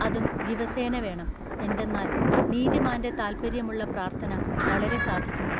അതും ദിവസേന വേണം. എന്തെന്നാൽ നീതിമാൻ്റെ താല്പര്യമുള്ള പ്രാർത്ഥന വളരെ സാധിക്കുന്നു.